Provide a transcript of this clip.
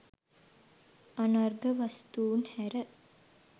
අනර්ඝ වස්තූන් හැර